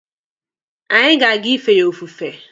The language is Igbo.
Anyị ga-aga ife ya ofufe.